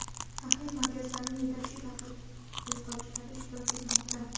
tahlil markazlarining yetakchi tadqiqotchilari ishtirok etmoqda.